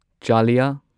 ꯆꯥꯂꯤꯌꯥ